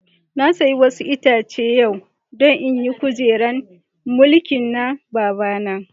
Na siya wasu Itace yau don in yi kujeran mulkin na babana.